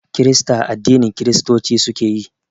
Kirista addinin Kiristoci suke yi